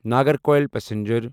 Nagercoil passenger